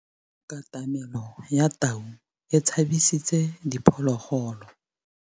Katamêlô ya tau e tshabisitse diphôlôgôlô.